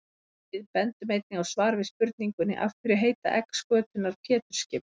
Við bendum einnig á svar við spurningunni Af hverju heita egg skötunnar Pétursskip?